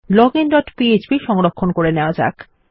login dot PHP ছোট করে সংরক্ষণ করে নেওয়া যাক